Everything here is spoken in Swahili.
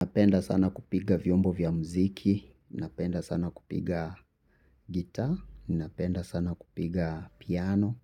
Napenda sana kupiga vyombo vya mziki. Napenda sana kupiga gitaa. Napenda sana kupiga piano.